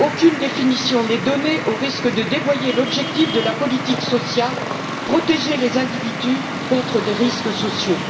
Aucune définition n'est donnée, au risque de dévoyer l'objectif de la politique sociale protéger les individus contre des risques sociaux.